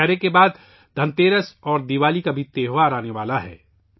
دسہرہ کے بعد دھنتیرس اور دیوالی کا تہوار بھی آنے والا ہے